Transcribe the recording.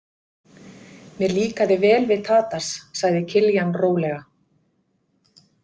Mér líkaði vel við Tadas, sagði Kiljan rólega.